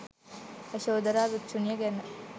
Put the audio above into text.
යශෝධරා භික්ෂුණිය ගැන